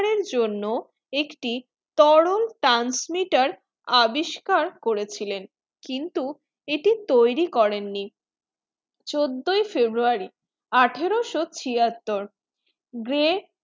এর জন্য একটি তরল transmitter আবিস্কার করেছিলেন কিন্তু এটি তৈরী করেন নি চোদ্দই february আঠারোশো ছিয়াত্তর grey